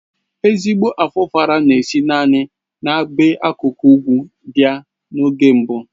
Ezigbo Afufara na-esi naanị n'ebe akụkụ ugwu abị́a na-oge mbụ